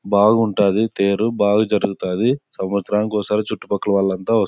బాగుంటది బాగా జరుగుతది సవంత్స్రం కి ఒకసారి చుట్టుపక్కల వాళ్ళు అంత వస్తారు --